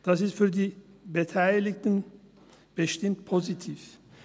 Das ist für die Beteiligten bestimmt positiv.